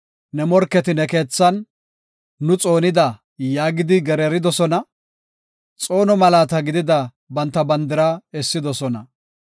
Ne morketi ne keethan, “Nu xoonida” yaagidi gereeridosona. Xoono malaata gidida banta bandira essidosona.